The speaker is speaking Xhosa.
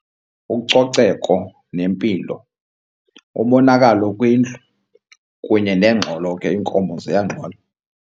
Ucoceko nempilo, umonakalo kwindlu kunye nengxolo ke, iinkomo ziyangxola.